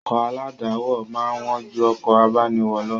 Ọkọ̀ aládàáwọ̀ máa ń wán ju ọkọ̀ abániwọ̀ lọ